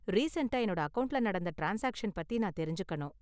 ரீசண்ட்டா என்னோட அக்கவுண்ட்ல நடந்த ட்ரான்ஸ்சாக்சன் பத்தி நான் தெரிஞ்சுக்கணும்.